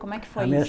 Como é que foi isso?